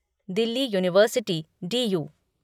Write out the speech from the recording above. Delhi university DU